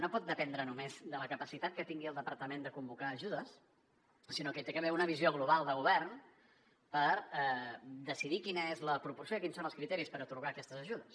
no pot dependre només de la capacitat que tingui el departament de convocar ajudes sinó que hi ha d’haver una visió global de govern per decidir quina és la proporció i quins són els criteris per atorgar aquestes ajudes